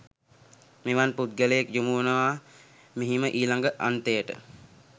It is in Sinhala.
මෙවන් පුද්ගලයෙක් යොමු වනවා මෙහිම ඊළඟ අන්තයට.